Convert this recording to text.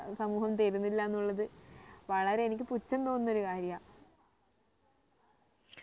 സമൂഹം തരുന്നില്ല എന്നുള്ളത് വളരെ എനിക്ക് പുച്ഛം തോന്നുന്ന ഒരു കാര്യാ